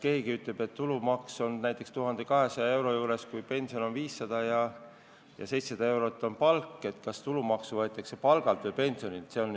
Kui näiteks tulumaks on 1200 euro juures, pension on 500 ja palk 700 eurot, siis kas tulumaks võetakse palgalt või pensionilt?